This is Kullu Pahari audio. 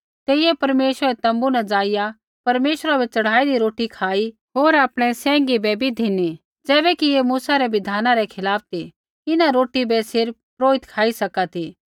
तेइयै परमेश्वरै रै तोम्बू न ज़ाइआ परमेश्वरा बै च़ढ़ाईदी रोटी खाई होर आपणै सैंघी बै भी धिनी ज़ैबैकि ऐ मूसै रै बिधाना रै खिलाफ़ ती इन्हां रोटी बै सिर्फ़ पुरोहित खाई सका ती